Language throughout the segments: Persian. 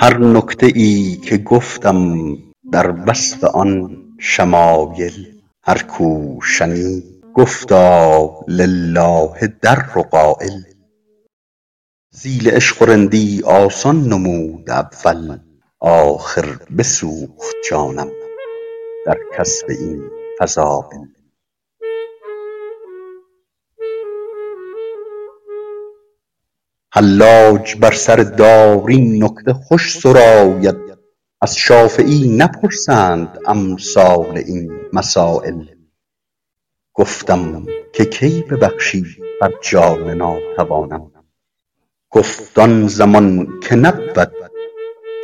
هر نکته ای که گفتم در وصف آن شمایل هر کو شنید گفتا لله در قایل تحصیل عشق و رندی آسان نمود اول آخر بسوخت جانم در کسب این فضایل حلاج بر سر دار این نکته خوش سراید از شافعی نپرسند امثال این مسایل گفتم که کی ببخشی بر جان ناتوانم گفت آن زمان که نبود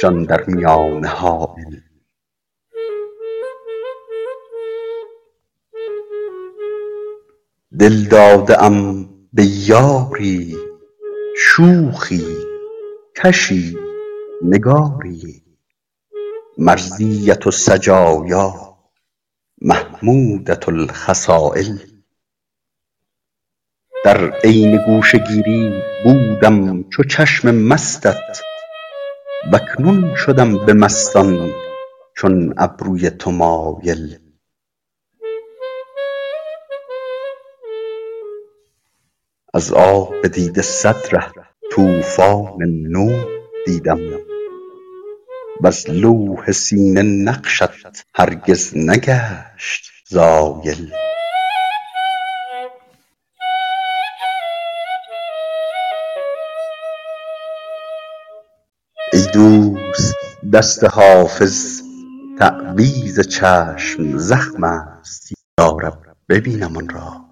جان در میانه حایل دل داده ام به یاری شوخی کشی نگاری مرضیة السجایا محمودة الخصایل در عین گوشه گیری بودم چو چشم مستت و اکنون شدم به مستان چون ابروی تو مایل از آب دیده صد ره طوفان نوح دیدم وز لوح سینه نقشت هرگز نگشت زایل ای دوست دست حافظ تعویذ چشم زخم است یا رب ببینم آن را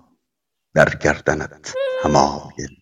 در گردنت حمایل